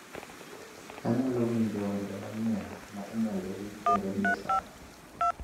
Anyalo winjo wende manyien ma inyalo winj eredio sani